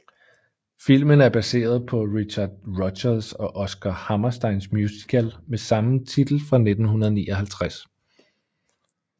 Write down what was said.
Filmen er baseret på Richard Rodgers og Oscar Hammersteins musical med samme titel fra 1959